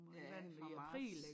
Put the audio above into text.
Ja fra marts